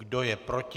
Kdo je proti?